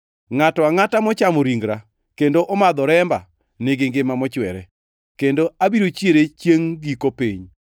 Ngʼato angʼata mochamo ringra kendo omadho remba nigi ngima mochwere, kendo abiro chiere chiengʼ giko piny.